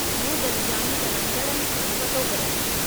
मूं गॾिजाणी कराइंदड़नि सां पतो कयो।